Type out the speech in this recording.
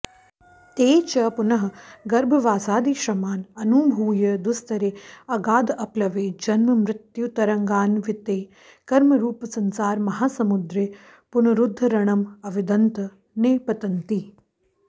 ते च पुनः गर्भवासादिश्रमान् अनुभूय दुस्तरे अगाधेऽप्लवे जन्ममृत्युतरङ्गान्विते कर्मरूपसंसारमहासमुद्रे पुनरुद्धरणं अविदन्तः निपतन्ति